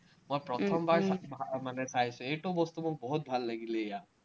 মই প্ৰথমবাৰ মানে চাইছো, এইটো বস্তু মোক বহুত ভাল লাগিলে ইয়াত।